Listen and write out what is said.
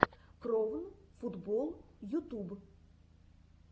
кровн футбол ютуб